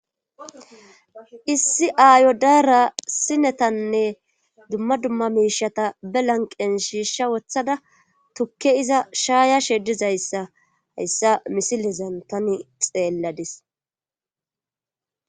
issi aayo daara sinetanne dumma dumma miishata be lanqen shiishsha wothada tukke iza shaaya she dizayssa hayssa misilezan tani xeelladis